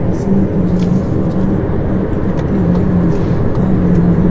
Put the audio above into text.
इसमें पुजारी पूजा-पाठ करते हुए नज़र आ रहे है।